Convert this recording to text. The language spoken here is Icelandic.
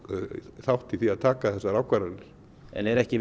þátt í því að taka þessar ákvarðanir en er ekki